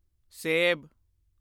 ਸੇਬ